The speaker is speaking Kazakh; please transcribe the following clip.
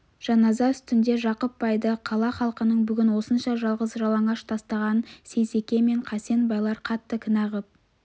жаназа үстінде жақып байды қала халқының бүгін осынша жалғыз жалаңаш тастағанын сейсеке мен қасен байлар қатты кінә қып